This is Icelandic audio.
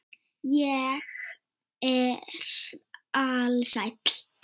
Ég er alsæll.